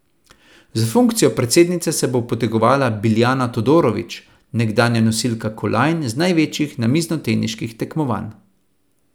Za funkcijo predsednice se bo potegovala Biljana Todorović, nekdanja nosilka kolajn z največjih namiznoteniških tekmovanj.